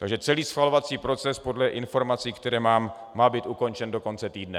Takže celý schvalovací proces podle informací, které mám, má být ukončen do konce týdne.